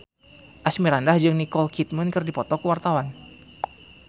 Asmirandah jeung Nicole Kidman keur dipoto ku wartawan